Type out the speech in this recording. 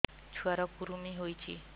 ଛୁଆ ର କୁରୁମି ହୋଇଛି